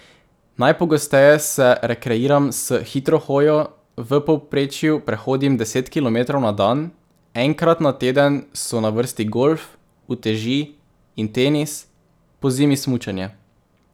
Najpogosteje se rekreiram s hitro hojo, v povprečju prehodim deset kilometrov na dan, enkrat na teden so na vrsti golf, uteži in tenis, pozimi smučanje.